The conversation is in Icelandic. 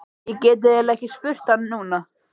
Ég get eiginlega ekki spurt hann núna.